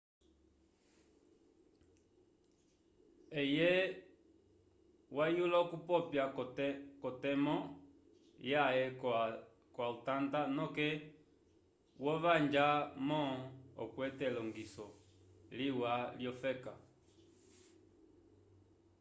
eye wayula okupopya ko temo yaye ko altanta noke wo vanja mom okwete elongiso liwa lyo feka